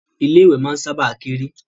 Ilé ìwẹ̀ máa ń sábà kéré